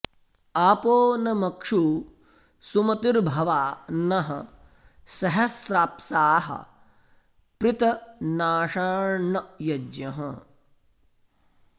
आपो॒ न म॒क्षू सु॑म॒तिर्भ॑वा नः स॒हस्रा॑प्साः पृतना॒षाण्न य॒ज्ञः